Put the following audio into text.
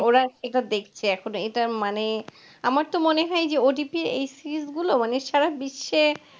ওরা এবার দেখছে এখন এটা, মানে আমার তো মনে হয় যে, ওটিটির এই series গুলো সারা বিশ্বে